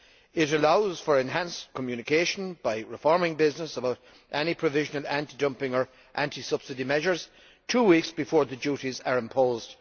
It allows for enhanced communication by informing business about provisional anti dumping or anti subsidy measures two weeks before the duties are imposed.